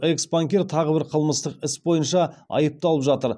экс банкир тағы бір қылмыстық іс бойынша айыпталып жатыр